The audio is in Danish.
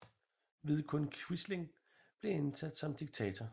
Vidkun Quisling blev indsat som diktator